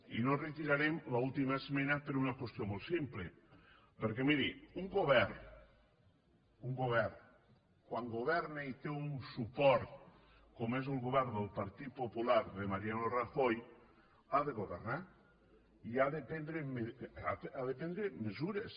i no retirarem l’última esmena per una qüestió molt simple perquè miri un govern un govern quan governa i té un suport com és el govern del partit popular de mariano rajoy ha de governar i ha de prendre mesures